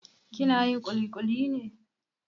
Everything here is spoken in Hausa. Kina yin ƙuliƙuli ne?